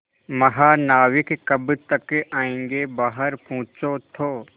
महानाविक कब तक आयेंगे बाहर पूछो तो